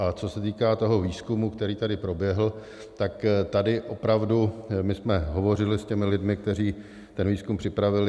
A co se týká toho výzkumu, který tady proběhl, tak tady opravdu my jsme hovořili s těmi lidmi, kteří ten výzkum připravili.